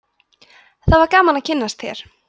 það var gaman að kynnast þér